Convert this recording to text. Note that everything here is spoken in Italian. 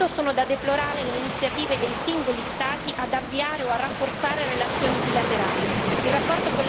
Proprio per questo sono da deplorare le iniziative dei singoli Stati ad avviare o a rafforzare relazioni bilaterali.